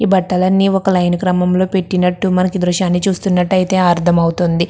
ఈ బట్టలన్నీ ఒక లైన్ క్రమం లో పెట్టినట్టు మనకి ఈ దృశ్యాన్ని చూస్తున్నట్టు అయితే అర్థం అవుతుంది.